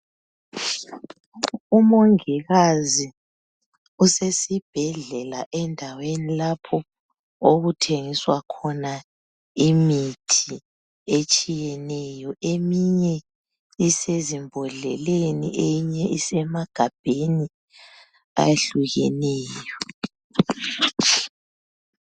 Umongikazi usesibhedlela endaweni lapho okuthengiswa khona imithi etshiyeneyo eminye usezimbodleleni eminye isemagabheni ahlukeneyo